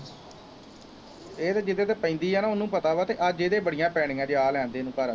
ਇਹ ਤਾਂ ਜਿਹਦੇ ਤੇ ਪੈਂਦੀ ਹੈ ਨਾ ਉਹਨੂੰ ਪਤਾ ਵਾ ਅਤੇ ਅੱਜ ਇਹਦੇ ਬੜੀਆਂ ਪੈਣੀਆਂ ਜੇ ਆ ਲੈਣ ਦੇ ਇਹਨੂੰ ਘਰ